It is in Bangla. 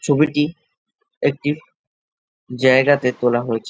ছবিটি একটি জায়গাতে তোলা হয়েছে।